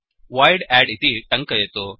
void add इति टङ्कयतु